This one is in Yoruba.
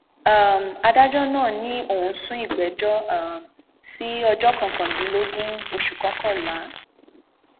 um adájọ náà ni òun sún ìgbẹjọ um sí ọjọ kọkàndínlógún oṣù kọkànlá